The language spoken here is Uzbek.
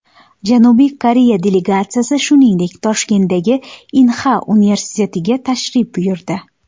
Janubiy Koreya delegatsiyasi, shuningdek, Toshkentdagi Inha universitetiga tashrif buyurdi.